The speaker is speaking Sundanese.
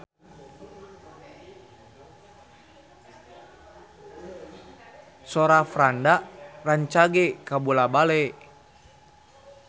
Sora Franda rancage kabula-bale